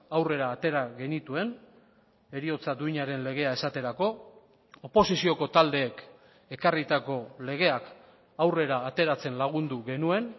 aurrera atera genituen heriotza duinaren legea esaterako oposizioko taldeek ekarritako legeak aurrera ateratzen lagundu genuen